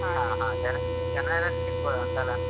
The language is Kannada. ಹ ಹಾ ಜನ~ ಜನಯೆಲ್ಲ rush ಇರ್ಬೋದಾ ಅಂತ ಅಲ್ಲ.